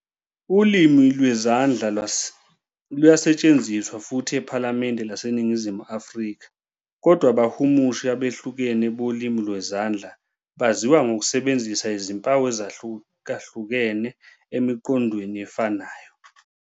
Ulimi lwezandla luyasetshenziswa futhi ephalamende laseNingizimu Afrika, kodwa abahumushi abehlukene bolimi lwezandla baziwa ngokusebenzisa izimpawu ezahlukahlukene emiqondweni efanayo.